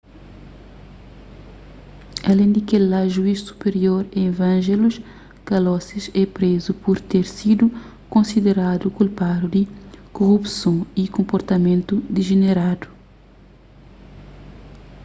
alén di kel-la juiz supirior evangelos kalousis é prézu pur ter sidu konsideradu kulpadu di korupson y konportamentu dijeneradu